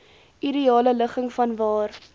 ideale ligging vanwaar